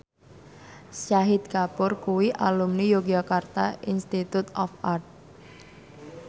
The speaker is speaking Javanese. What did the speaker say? Shahid Kapoor kuwi alumni Yogyakarta Institute of Art